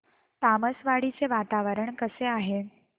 तामसवाडी चे वातावरण कसे आहे